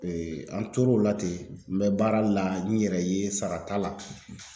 an tor'o la ten n bɛ baara la n yɛrɛ ye sara t'a la .